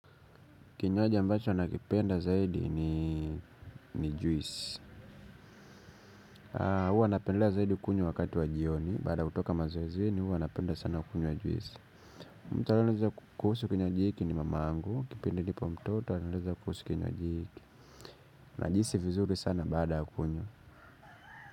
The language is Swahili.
Kinywaji ambacho nakipenda zaidi ni juis. Huwa napendelea zaidi kunywa wakati wa jioni. Baada ya kutoka mazoezini huwa napenda sana kunywa juisi. Mtu aliyenieleza kuhusu kinywaji hiki ni mamangu. Kipindi nipo mtoto alinieleza kuhusu kinywaji hiki. Najihisi vizuri sana baada kunywa.